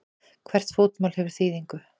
Hvert fótmál hefur þýðingu.